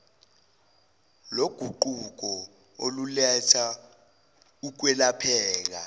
loguquko oluletha ukwelapheka